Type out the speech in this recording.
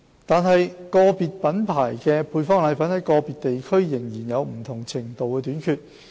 然而，個別品牌的配方粉在個別地區仍有不同程度的短缺。